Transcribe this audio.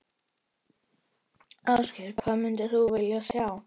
Ásgeir: Hvað myndir vilja sjá?